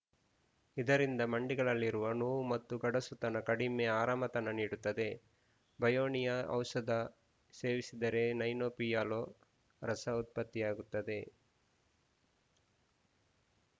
ಇದರಿಂದ ಮಂಡಿಗಳಲ್ಲಿರುವ ನೋವು ಮತ್ತು ಗಡಸುತನ ಕಡಿಮೆ ಆರಾಮತನ ನೀಡುತ್ತದೆ ಬ್ರಯೋನಿಯಾ ಔಷಧ ಸೇವಿಸಿದರೆ ಸೈನೋಪಿಯಲ ರಸ ಉತ್ಪತಿಯಾಗುತ್ತದೆ